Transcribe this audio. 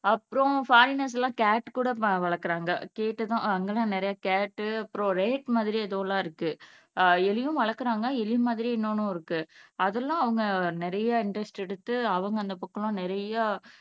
அப்புறம் ஃபாரினர்ஸ் எல்லாம் கேட் கூட வளர்க்கிறாங்க கேட் அங்க தான் நிறைய கேட் அப்புறம் ரேட் மாதிரி எதோ எல்லாம் இருக்கு அஹ் எலியும் வளர்க்கிறாங்க எலி மாதிரியே இன்னொண்ணும் இருக்கு அது எல்லாம் அவங்க நிறைய இன்ட்ரெஸ்ட் எடுத்து அவங்க அந்த